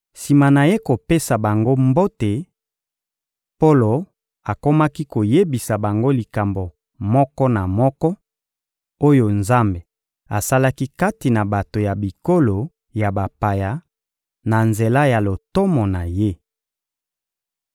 Sima na ye kopesa bango mbote, Polo akomaki koyebisa bango likambo moko na moko, oyo Nzambe asalaki kati na bato ya bikolo ya bapaya, na nzela ya lotomo na ye.